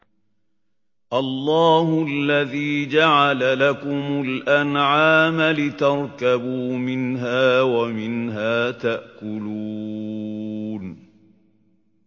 اللَّهُ الَّذِي جَعَلَ لَكُمُ الْأَنْعَامَ لِتَرْكَبُوا مِنْهَا وَمِنْهَا تَأْكُلُونَ